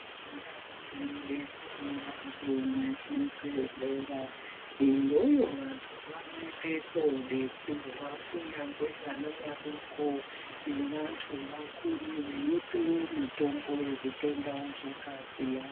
Ndau dzinobetsere vantu nezvibhedhlera iyoyo vantu vanoende koodetserwa kunyangwe vana vadoko navantu vakuru veipiwe mitombo yezvitenda zvakasiyana siyana.